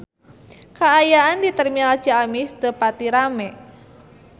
Kaayaan di Terminal Ciamis teu pati rame